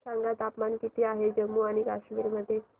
सांगा तापमान किती आहे जम्मू आणि कश्मीर मध्ये